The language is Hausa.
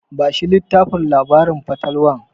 Bashi littafin labarin fatalwar.